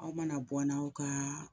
Aw mana bɔ n' aw kaa